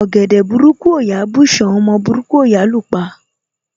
Ọ̀gẹ̀dẹ̀ burúkú ò yá bùsán, ọmọ burúkú ò yá lú pa.